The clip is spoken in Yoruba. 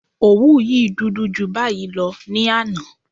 Òwú yìí dúdú ju báyìí lọ ní àná